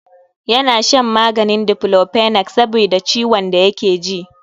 Ya na shan maganin Diklofenak sabida ciwon da yake ji.